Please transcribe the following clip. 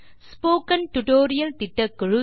spoken tutorial திட்டக்குழு